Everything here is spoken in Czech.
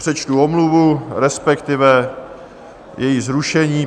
Přečtu omluvu, respektive její zrušení.